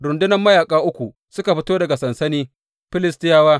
Rundunar mayaƙa uku suka fito daga sansani Filistiyawa.